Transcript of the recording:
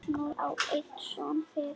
Magnús á einn son fyrir.